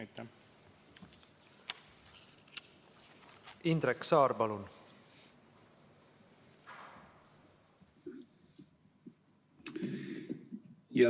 Indrek Saar, palun!